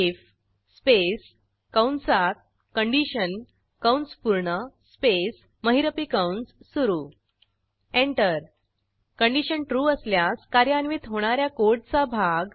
if space कंसात condition कंस पूर्ण स्पेस महिरपी कंस सुरू एंटर कंडिशन ट्रू असल्यास कार्यान्वित होणा या कोडचा भाग